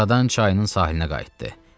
Buradan çayının sahilinə qayıtdı.